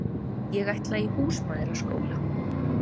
Ég ætla í húsmæðraskóla.